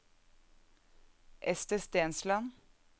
Ester Stensland